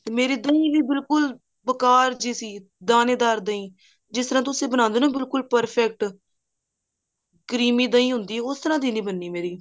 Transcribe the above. ਤੇ ਮੇਰੀ ਦਹੀਂ ਵੀ ਬਿਲਕੁਲ ਬੇਕਾਰ ਜੀ ਸੀ ਦਾਨੇ ਦਾਰ ਦਹੀਂ ਜਿਸ ਤਰ੍ਹਾਂ ਤੁਸੀਂ ਬਣਾਉਂਦੇ ਹੋ ਨਾ ਬਿਲਕੁਲ perfect creamy ਦਹੀਂ ਹੁੰਦੀ ਹੈ ਉਸ ਤਰ੍ਹਾਂ ਦੀ ਨੀ ਬਣਦੀ ਮੇਰੀ